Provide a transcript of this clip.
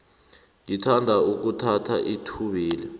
ngithanda ukuthatha ithubeli